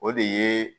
O de ye